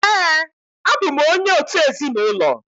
Ee, abụ m onye òtù ezinụlọ